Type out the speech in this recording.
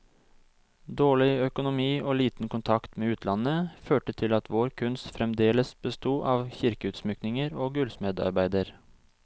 Dårlig økonomi og liten kontakt med utlandet, førte til at vår kunst fremdeles besto av kirkeutsmykninger og gullsmedarbeider.